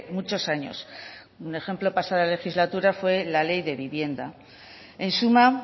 muchos años un ejemplo la pasada legislatura fue la ley de vivienda en suma